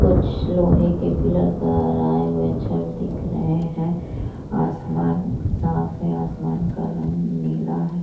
कुछ लोहे के पीलर का छड़ दिख रहे है आसमान साफ है आसमान का रंग नीला है।